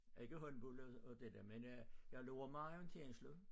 Ikke håndbold og det dér men jeg løber meget orienteringsløb